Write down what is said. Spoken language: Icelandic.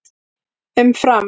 Um Fram: